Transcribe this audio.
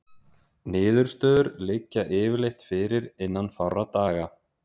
Niðurstöður liggja yfirleitt fyrir innan fárra daga.